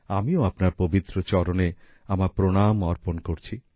আমিও আপনার পবিত্র চরণে আমার প্রণাম অর্পণ করছি